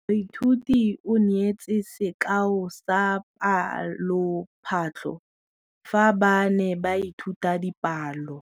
Moithuti o neetse sekaô sa palophatlo fa ba ne ba ithuta dipalo.